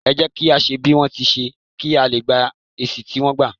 é jẹ kí à ṣe bí wọn ti n ṣe, kí a lé gbá èsì tí wọ́n gba